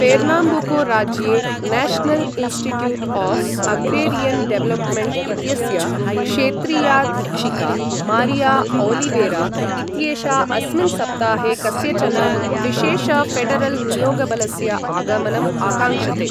Pernambuco राज्ये national institute of agrarian development इत्यस्य क्षेत्रीयाधीक्षिका मारिया ओलिवेरा इत्येषा अस्मिन् सप्ताहे कस्यचन विशेष ऴेडरल् नियोगबलस्य आगमनम् आकाङ्क्षते।